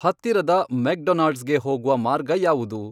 ಹತ್ತಿರದ ಮೆಕ್ಡೊನಾಲ್ಡ್ಸ್ಗೆ ಹೋಗುವ ಮಾರ್ಗ ಯಾವುದು